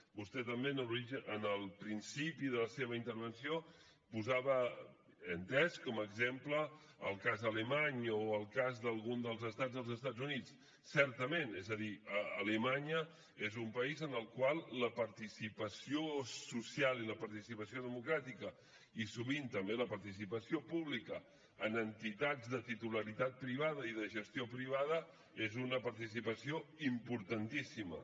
vostè també al principi de la seva intervenció posava he entès com a exemple el cas alemany o el cas d’algun dels estats dels estat units certament és a dir alemanya és un país en el qual la participació social i la participació democràtica i sovint també la participació pública en entitats de titularitat privada i de gestió privada és una participació importantíssima